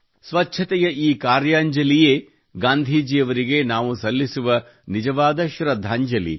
ಸ್ವಚ್ಛತೆಯ ಈ ಕಾರ್ಯಾಂಜಲಿಯೇ ಗಾಂಧೀಜಿಯವರಿಗೆ ನಾವು ಸಲ್ಲಿಸುವ ನಿಜವಾಗ ಶ್ರದ್ಧಾಂಜಲಿ